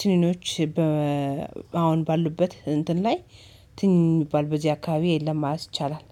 ትንኖች አሁን ባሉበት እንትን ላይ ትንኝ የሚባ በዚህ አካባቢ ላይ የለም። ማለት አይቻልም